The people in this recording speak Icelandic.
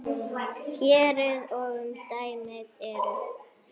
Héruðin og umdæmið eru